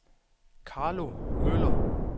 Carlo Møller